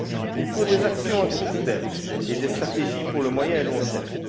Il faut des actions à court terme et des stratégies pour le moyen et le long terme.